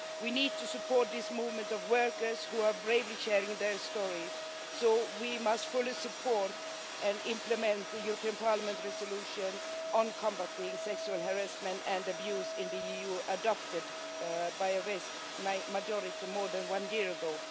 We need to support this movement of workers who are bravely sharing their stories, so we must fully support and implement the European Parliament resolution on combating sexual harassment and abuse in the EU adopted by a vast majority more than one year ago.